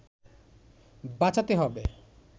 বাঁচাতে হবে